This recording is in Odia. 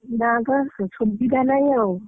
ନା ତ ସ ସୁବିଧା ନାହିଁ ଆଉ।